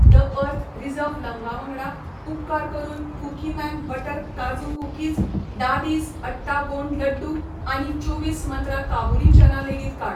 The earth reserve लवंगा वांगडा, उपकार करून कुकीमॅन बटर काजू कुकीज, दादीज अट्टा गोंड लड्डू आनी चोवीस मंत्रा काबुली चना लेगीत काड.